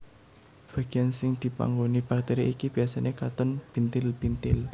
Bagian sing dipanggoni bakteri iki biasane katon bintil bintil